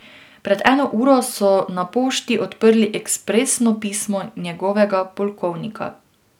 Pred eno uro so na pošti odprli ekspresno pismo njegovega polkovnika.